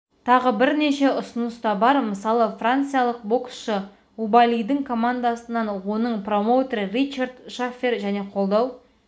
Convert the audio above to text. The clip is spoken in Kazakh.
тағы бірнеше ұсыныс та бар мысалы франциялық боксшы убаалидің командасынан оның промоутері ричард шаффер және қолдау